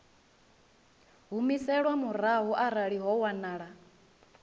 humiselwa murahu arali ho wanala